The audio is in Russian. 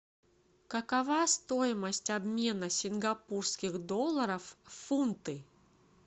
какова стоимость обмена сингапурских долларов в фунты